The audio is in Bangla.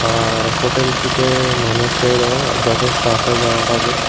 আর হোটেলটিতে মানুষেরও যথেষ্ট আসা যাওয়া হবে।